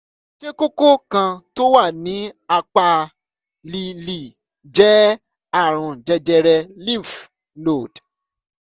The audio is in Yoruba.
ṣé kókó kan tó wà ní apá lè lè jẹ́ àrùn jẹjẹrẹ lymph node?